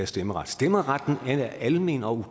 stemmeret stemmeretten er almen og